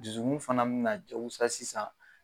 Dusukun fana min na jagosa sisan